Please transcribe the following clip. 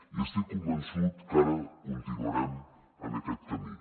i estic convençut que ara continuarem en aquest camí